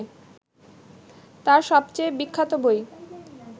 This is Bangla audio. তাঁর সবচেয়ে বিখ্যাত বই